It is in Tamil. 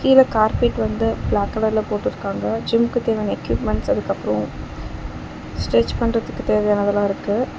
கீழ கார்பெட் வந்து பிளாக் கலர்ல போட்ருக்காங்க ஜிம்முக்கு தேவையான எக்யூப்மென்ட்ஸ் அதுக்கப்றோ ஸ்ட்ரெச் பண்றதுக்கு தேவையான அதலா இருக்கு.